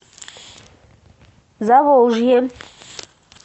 заволжье